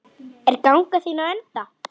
Er ganga þín á enda?